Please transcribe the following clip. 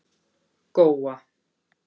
Góa